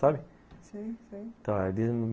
Sabe? sei, sei